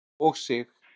og Sig.